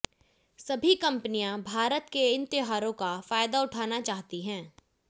सभी कंपनिया भारत के इन त्योहारों का फायदा उठाना चाहती है